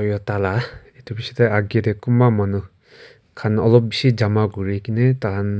toyota la etu biche de agae de kunba manu kan olob bishi jana kuri kina dakan